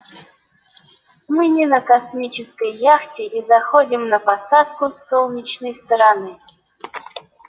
мы не на космической яхте и заходим на посадку с солнечной стороны